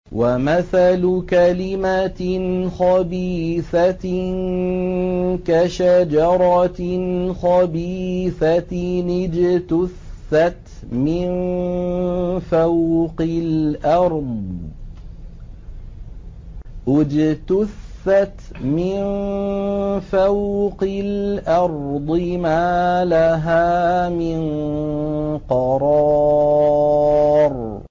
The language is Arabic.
وَمَثَلُ كَلِمَةٍ خَبِيثَةٍ كَشَجَرَةٍ خَبِيثَةٍ اجْتُثَّتْ مِن فَوْقِ الْأَرْضِ مَا لَهَا مِن قَرَارٍ